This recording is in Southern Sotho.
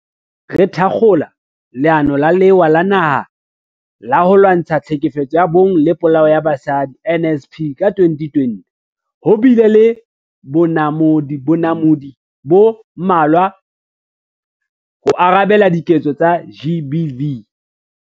Haesale re thakgola Leano la Lewa la Naha la ho Lwantsha Tlhekefetso ya Bong le Polao ya Basadi, NSP, ka 2020, ho bile le bonamodi bo mmalwa ho arabela diketso tsa GBV.